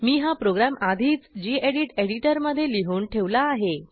मी हा प्रोग्रॅम आधीच गेडीत एडिटरमधे लिहून ठेवला आहे